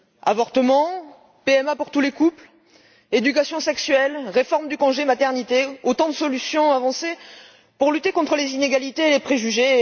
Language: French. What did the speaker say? Avortement, PMA pour tous les couples, éducation sexuelle, réforme du congé maternité constituent autant de solutions avancées pour lutter contre les inégalités et les préjugés!